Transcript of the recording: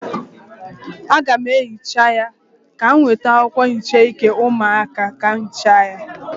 Aga m ehicha ya, ka m weta akwụkwọ nhicha ike ụmụaka bịa hịcha ya.